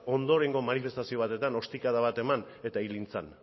ondorengo manifestazio batetan ostikada bat eman eta hil egin zen